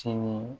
Sini